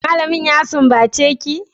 malamin ya sumbace ki?